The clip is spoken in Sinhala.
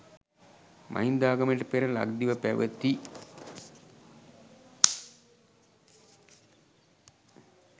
මහින්දාගමනයට පෙර ලක්දිව පැවති